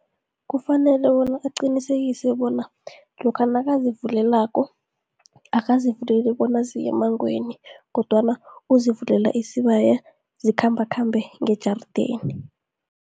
Kufanele bona aqinisekise bona lokha nakazivulelako, akazivuleli bona ziye emangweni kodwana uzivulela isibaya zikhambakhambe ngejarideni.